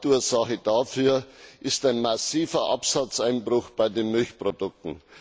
Hauptursache dafür ist ein massiver Absatzeinbruch bei den Milchprodukten.